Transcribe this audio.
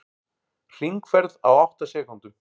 Hringferð á átta sekúndum